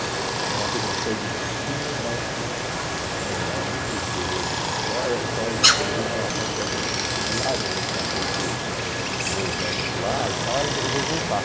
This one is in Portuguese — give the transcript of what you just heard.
Então ela fez uma série de disciplinas, mas assim, era muito rigoroso essa história, ela só poderia entrar na FAU se tivesse outro vestibular, ela já tinha feito dois anos lá e tal, ela resolveu voltar.